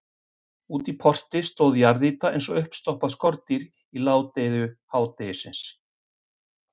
Úti í porti stóð jarðýta eins og uppstoppað skordýr í ládeyðu hádegisins.